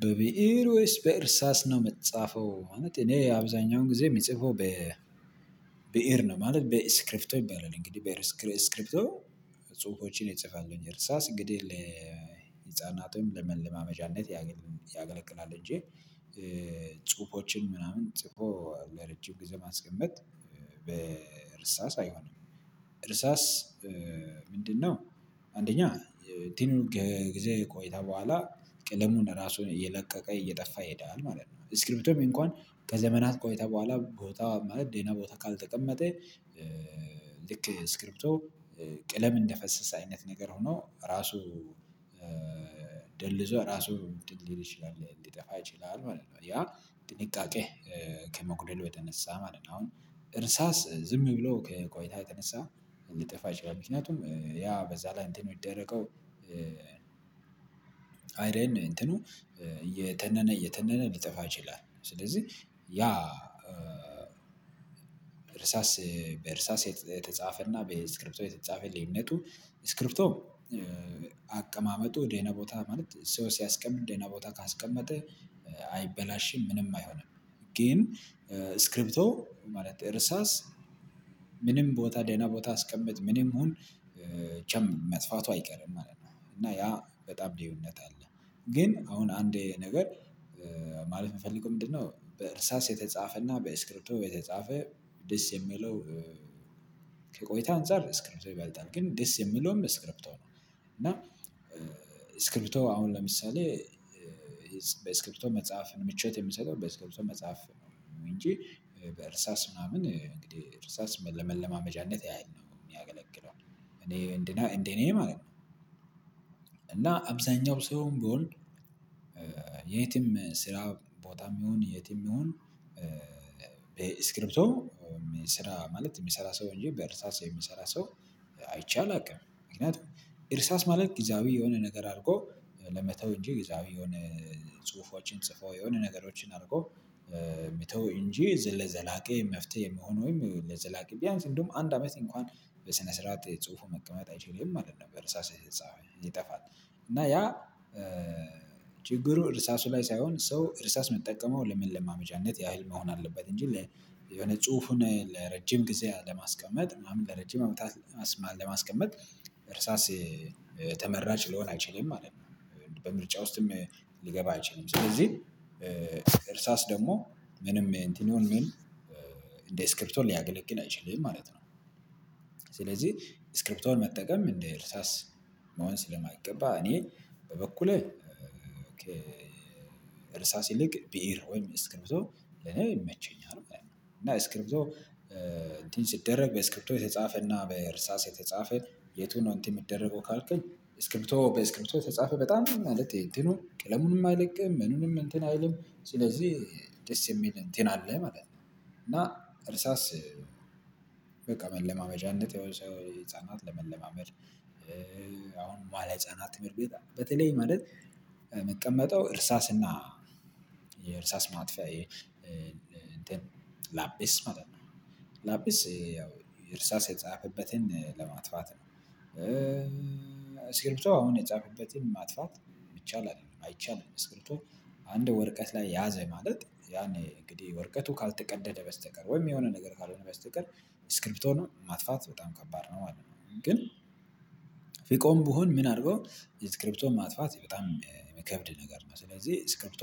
"በብእር ወይስ በእርሳስ ነው የምትጻፈው?" ማለት እኔ አብዛኛውን ጊዜ ምጽፈው በብእር ነው ማለት በኤስክሪፕቶ ይባላል። እንግዲህ በኤስክሪፕቶ ጽሁፎችን እጽፋለሁኝ እርሳስ እንግዲህ ለህፃናቱም ለመለማመጃነት ያገለግላል እንጂ ጽሁፎችን ምናምን ጽፎ ለረጅም ጊዜ ማስቀመጥ በእርሳስ አይሆንም። እርሳስ ምንድነው አንደኛ እንትኑ ከጊዜ ቆይታ በኋላ ቅለሙን ራሱን እየለቀቀ እየጠፋ ይሄዳል ማለት ነው። እስክሪፕቶም እንኳን ከዘመናት ቆይታ በኋላ ቦታ ማለት ደህና ቦታ ካልተቀመጠ ልክ እስክሪፕቶ ቀለም እንደፈሰሰ አይነት ነገር ሆኖ ራሱ ደልዞ ራሱ እንትን ሊል ይችላል ሊጠፋ ይችላል ማለት ነው። ያ ጥንቃቄ ከመጉደሉ የተነሳ ማለት ነው። አሁን እርሳስ ዝም ብሎ ከቆይታ የተነሳ እንዲጠፋ ይችላል ምክንያቱም ያ በዛ ላይ እንትን የሚደረገው አይረን እንትኑ እየተነነ እየተነነ ሊጠፋ ይችላል። ስለዚህ ያ እርሳስ በእርሳስ የተጻፈና በእስክሪፕቶ የተጻፈ ልዩነቱ ስክሪፕቶም አቀማመጡ ደህና ቦታ ማለት ሰው ሲያስቀምጥ ደህና ቦታ ካስቀመጠ አይበላሽም ምንም አይሆንም። ግን ስክሪፕቶ ማለት እርሳስ ምንም ቦታ ደና ቦታ አስቀምጥ ምንም ሁን ጨም መጥፋቱ አይቀርም ማለት ነው። እና ያ በጣም ልዩነት አለ ግን አሁን አንዴ ነገር ማለት የምፈልገው ምንድነው በእርሳስ የተጻፈና በስክሪፕቶ የተጻፈ ደስ የሚለው ከቆይታ አንፃር ስክሪፕቶ ይባልጣል። ግን ደስ የሚለውም ስክሪፕቶ ነው። እና ስክሪፕቶ አሁን ለምሳሌ በስክሪፕቶ መጽሐፍን ምቾት የሚሰጠው በስክሪፕቶ መጽሐፍ ነው እንጂ በእርሳስ ምናምን እንግዲህ እርሳስ ለመለማመጃነት ያህል ነው የሚያገለግለው። እኔ እንደኔ ማለት ነው እና አብዛኛው ሰውም ቢሆን የትም ስራ ቦታም ይሁን የትም ይሁን በስክሪፕቶ ስራ ማለት የሚሰራ ሰው እንጂ በእርሳስ የሚሰራ ሰው አይቼ አላውቅ። ምክንያቱም እርሳስ ማለት ጊዜያዊ የሆነ ነገር አድርጎ ለመተው እንጂ ጊዜያዊ የሆነ ጽሁፎችን ጽፎ የሆነ ነገሮችን አድርጎ መተው እንጂ ለዘላቂ መፍትሄ የሚሆን ወይም ለዘላቂ ቢያንስ እንደውም አንድ አመት እንኳን በስነ ስርዓት ጽሁፉ መቀመጥ አይችልም ማለት ነው። በእርሳስ የተጻፈ ይጠፋል። እና ያ ችግሩ እርሳሱ ላይ ሳይሆን ሰው እርሳስ ሚጠቀመው ለመለማመጃነት ያህል መሆን አለበት እንጂ የሆነ ጽሁፉን ለረጅም ጊዜ ለማስቀመጥ ምናምን ለረጅም አመታት ለማስቀመጥ እርሳስ ተመራጭ ሊሆን አይችልም ማለት ነው። በምርጫ ውስጥም ሊገባ አይችልም። ስለዚህ እርሳስ ደግሞ ምንም እንትን ይሁን ምን እንደ ስክሪፕቶን ሊያገለግል አይችልም ማለት ነው። ስለዚህ ስክሪፕቶን መጠቀም እንደ እርሳስ መሆን ስለማይገባ እኔ በበኩሌ ከ እርሳስ ይልቅ ቢኢር ወይም ስክሪፕቶ ለኔ ይመቼኛል ማለት ነው። እና ስክሪፕቶ እንትን ሲደረግ በስክሪፕቶ የተጻፈና በእርሳስ የተጻፈ የቱ ነው እንትን የሚደረገው ካልከኝ ስክሪፕቶ በስክሪፕቶ የተጻፈ በጣም ማለት ይሄ ትኑ ቀለሙንም አይለቅም ምኑንም እንትን አይልም ስለዚህ ደስ የሚል እንትን አለ ማለት ነው እና እርሳስ በቃ መለማመጃነት እንዴት ያው ሰው ህፃናት ለመለማመድ አሁን መኋለህፃናት ትምህርት ቤት በተለይ ማለት ሚቀመጠው እርሳስና የእርሳስ ማጥፊያ እንትን ላጲስ ማለት ነው። ላጲስ ያው እርሳስ የጻፈበትን ለማጥፋት ነው። እ እስክርፕቶ አሁን የጻፈበትን ማጥፋት ይቻላል አይቻልም አስክርፕቶ አንድ ወርቀት ላይ ያዘ ማለት ያን እንግዲህ ወርቀቱ ካልተቀደደ በስተቀር ወይም የሆነ ነገር ካልሆነ በስተቀር ስክሪፕቶ ነው። ማጥፋት በጣም ከባድ ነው ማለት ነው። ግን ፍቆም ብሆም ምን አርጎ ስክሪፕቶን ማጥፋት በጣም የሚከብድ ነገር ነው። ስለዚህ ስክሪፕቶ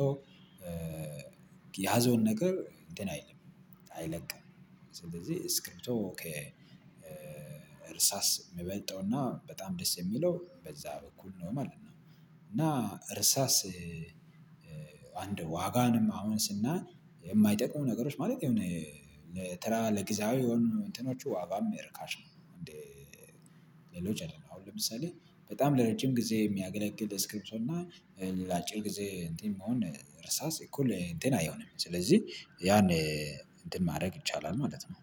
የያዘውን ነገር እንትን አይልም አይለቅም ስለዚህ ስክሪፕቶ ከእርሳስ የሚበልጠውና በጣም ደስ የሚለው በዛ በኩል ነው ማለት ነው። እና እርሳስ አንድ ዋጋንም አሁን ስናይ የማይጠቅሙ ነገሮች ማለት የሆነ ለተራ ለጊዜያዊ የሆኑ እንትኖቹ ዋጋም እርካሽ ነው እንዴ ሌሎች አይደለም አሁን ለምሳሌ በጣም ለረጅም ጊዜ የሚያገለግል ስክሪፕቶና ለአጭር ጊዜ እንትን መሆን እርሳስ እኩል እንትን አይሆንም ስለዚህ ያን እንትን ማድረግ ይቻላል ማለት ነው